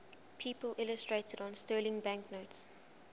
people illustrated on sterling banknotes